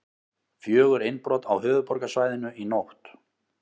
Fjögur innbrot á höfuðborgarsvæðinu í nótt